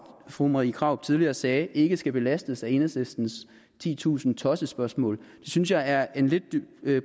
fru marie krarup tidligere sagde ikke skal belastes af enhedslistens titusind tossespørgsmål det synes jeg er en lidt